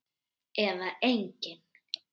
Eða engin?